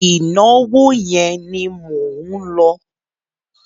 Ìnáwó yẹn ni mò ń lọ.